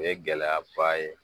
O ye gɛlɛyaba ye